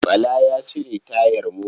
Bala ya cire tayar mota.